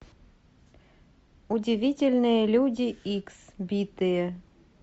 удивительные люди икс битые